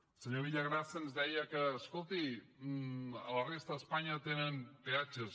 el senyor villagrasa ens deia escolti a la resta d’espanya tenen peatges